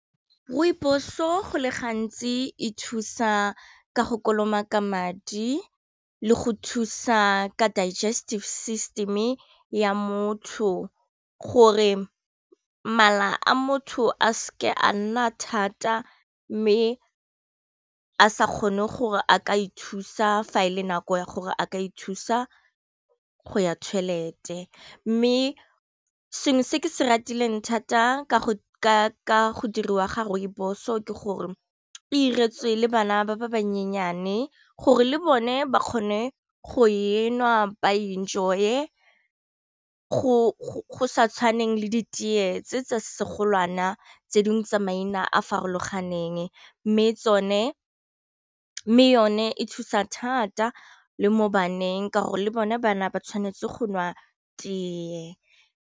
Rooibos-o go le gantsi e thusa ka go kolomaka madi le go thusa ka digestive system ya motho gore mala a motho a seke a nna thata mme a sa kgone gore a ka ithusa fa e le nako ya gore a ka ithusa go ya toilet-e, mme sengwe se ke se ratileng thata ka go diriwa ga rooibos-o ke gore go iretswe le bana ba ba bannyenyane, gore le bone ba kgone go enwa ba enjoy-e go sa tshwaneng le di teye tse tsa segolwana tse dingwe tsa maina a a farologaneng, mme yone e thusa thata le mo baneng ka gore le bone bana ba tshwanetse go nwa teye.